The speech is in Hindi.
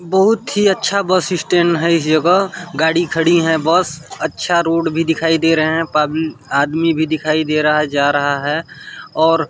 बहुत ही अच्छा है बस स्टैंड हैं इस जगह गाड़ी खड़ी है बस अच्छा रोड दिखाई दे रहा है आदमी भी दिखाई दे रहा है जा रहा हैं।